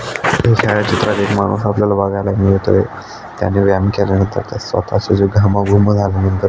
बगायला मिळतोय त्यानी व्यायाम केल्या नंतर स्वता जिव घामा गुन झाल्या नंतर --